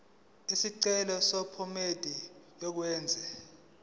isicelo sephomedi yokwenze